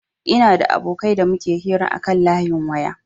Ina da abokai da muke hira akan layin waya